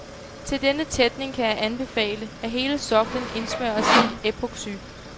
Til denne tætning kan jeg anbefale, at hele soklen indsmøres i epoxy.